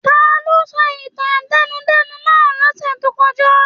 Taló sọ ìtàn átẹnudẹ́nu náà lọ́sẹ̀ tó kọjá?